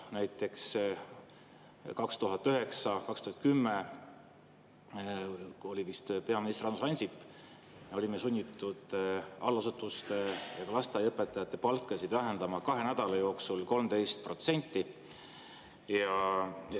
Näiteks 2009–2010, kui oli vist peaminister Andrus Ansip, me olime sunnitud allasutuste ja ka lasteaiaõpetajate palka vähendama kahe nädala jooksul 13%.